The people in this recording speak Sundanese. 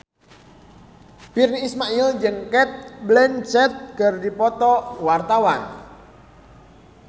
Virnie Ismail jeung Cate Blanchett keur dipoto ku wartawan